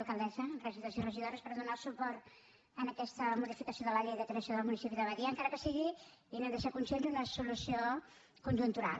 alcaldessa regidors i regidores per donar el suport a aquesta modificació de la llei de creació del municipi de badia encara que sigui i n’heu de ser conscients una solució conjuntural